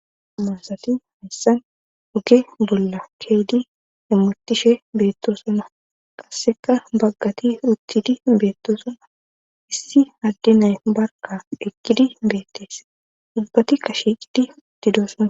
Amansati hayssan hoge bolla keedi emotishe beetto sona qasseka baggati rutidi beetto sona issi haddi nay barka ekkidi beettese ubbatikashiqidi utidoosona